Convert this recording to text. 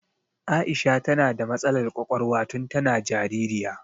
Aisha ta na da matsalar ƙwaƙwalwa tun ta na jaririya